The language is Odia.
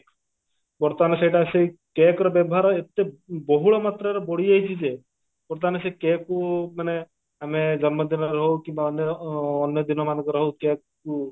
ବର୍ତମାନ ସେଇଟା ସେ cake ର ବ୍ୟବହାର ଏତେ ବହୁଳ ମାତ୍ରାର ବଢିଯାଇଛି ଯେ ବର୍ତମାନ ସେ cake କୁ ମାନେ ଆମେ ଜନ୍ମଦିନରେ ହଉ କିମ୍ବା ଅନ୍ୟ ଅନ୍ୟ ଦିନ ମାନଙ୍କରେ ହଉ cake କୁ